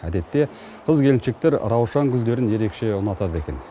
әдетте қыз келіншектер раушан гүлдерін ерекше ұнатады екен